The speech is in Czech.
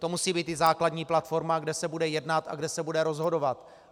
To musí být i základní platforma, kde se bude jednat a kde se bude rozhodovat.